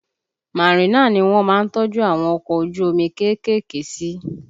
Marina ni wọ́n má ń tọ́jú àwọn ọkọ ojú omi kéékèèké sí